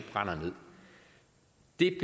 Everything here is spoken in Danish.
det